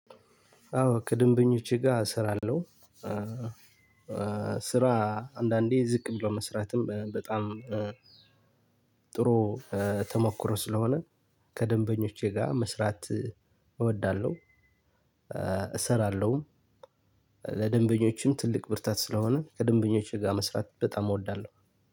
አዎ ከደንበኞቼ ጋ እሰራለሁ። ስራ አንዳንዴ ዝቅ ብሎ መስራትም በጣም ጥሩ ተሞክሮ ስለሆነ ከደንበኞቼ ጋር መስራት እወዳለሁ። እሰራለሁም። ለደንበኞችም ትልቅ ብርታት ስለሆነ ከደንበኞች ጋር መስራት በጣም እወዳለሁ።